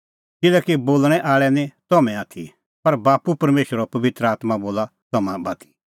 किल्हैकि बोल़णैं आल़ै निं तम्हैं आथी पर बाप्पू परमेशरो पबित्र आत्मां बोला तम्हां बाती